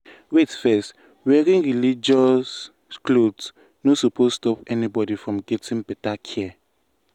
wait first wearing religious cloth no suppose stop anybody from getting better care.